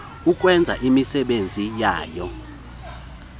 ukwenza imisebenzi yayo